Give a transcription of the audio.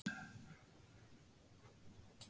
Iðrist, hrópaði hann innblásinn.